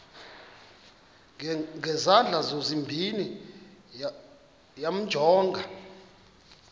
ngezandla zozibini yamjonga